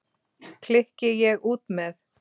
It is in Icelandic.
klykki ég út með.